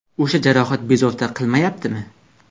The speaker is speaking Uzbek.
O‘sha jarohat bezovta qilmayaptimi?